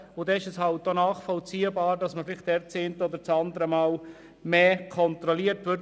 Daher ist es nachvollziehbar, dass das eine oder andere Mal dort mehr kontrolliert wird.